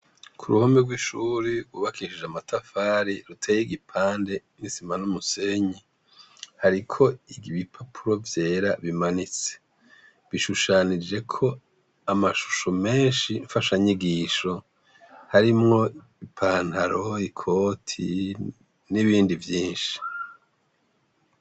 Kuruhome rw’ishure rwubakishije amatafari ruteye igipande isima n’umusenyi, hariko ibipapuro vyera bimanitse, bishushanijeko amashusho menshi fasha nyigisho harimwo ipantaro, ikoti n’ibindi vyinshi.